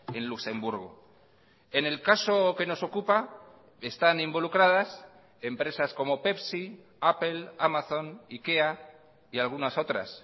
en luxemburgo en el caso que nos ocupa están involucradas empresas como pepsi apple amazon ikea y algunas otras